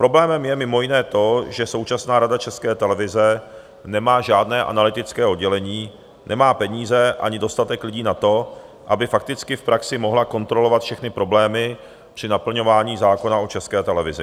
Problémem je mimo jiné to, že současná Rada České televize nemá žádné analytické oddělení, nemá peníze ani dostatek lidí na to, aby fakticky v praxi mohla kontrolovat všechny problémy při naplňování zákona o České televizi.